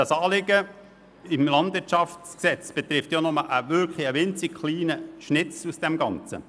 Das Anliegen im KLwG betrifft ja nur einen winzig kleinen Teil des Ganzen.